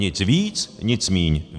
Nic víc, nic míň.